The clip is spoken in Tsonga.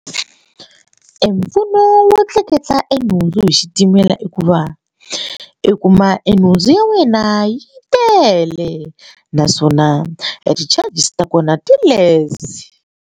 Mpfuno wo tleketla nhundzu hi xitimela i ku va i kuma e nhundzu ya wena yi tele naswona a ti-charges ta kona ti-less.